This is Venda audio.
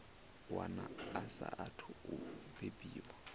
wana a saathu u bebiwaho